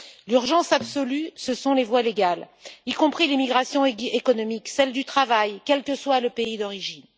L'urgence absolue, ce sont les voies légales, y compris l'immigration économique, celle du travail, quel que soit le pays d'origine.